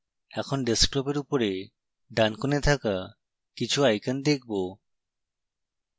এখন ডেস্কটপের উপরে ডান corner থাকা কিছু icons দেখবো